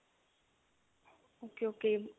okay okay